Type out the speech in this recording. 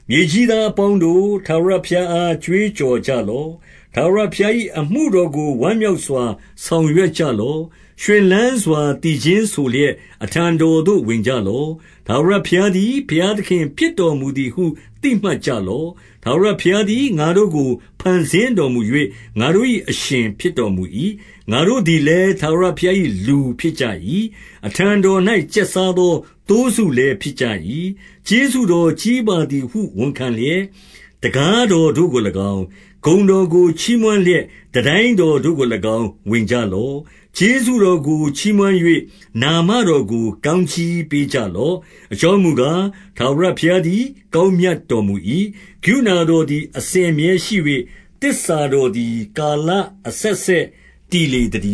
မြေကြီးသားအပေါင်းတို့၊ ထာဝရဘုရားအား ကြွေးကြော်ကြလော့။ 2 ထာဝရဘုရား၏ အမှုတော်ကို ဝမ်းမြောက်စွာ ဆောင်ရွက်ကြလော့။ ရွှင်လန်းစွာ သီချင်းဆိုလျက်၊ အထံတော်သို့ ဝင်ကြလော့။ 3 ထာဝရဘုရားသည် ဘုရားသခင်ဖြစ်တော်မူ သည်ဟု သိမှတ်ကြလော့။ ထာဝရဘုရားသည် ငါတို့ကို ဖန်ဆင်းတော်မူ၍၊ ငါတို့၏အရှင် ဖြစ်တော်မူ၏။ ငါတို့ သည်လည်း၊ ထာဝရဘုရား၏ လူဖြစ်ကြ၏။ အထံတော်၌ ကျက်စားသော သိုးစုလည်း ဖြစ်ကြ၏။ 4 ကျေးဇူးတော် ကြီးပါသည်ဟု ဝန်ခံလျက်၊ တံခါး တော်တို့ကို၎င်း၊ ဂုဏ်တော်ကိုချီးမွမ်းလျက် တန်တိုင်း တော်တို့ကို၎င်း ဝင်ကြလော့။ ကျေးဇူး တော်ကိုချီးမွမ်း၍ နာမတော်ကို ကောင်းကြီးပေးကြလော့။ 5 အကြောင်းမူကား၊ ထာဝရဘုရားသည် ကောင်း မြတ်တော်မူ၏။ ကရုဏာတော်သည် အစဉ်အမြဲရှိ၍၊ သစ္စာတော်သည် ကာလအဆက်ဆက် တည်လေ သတ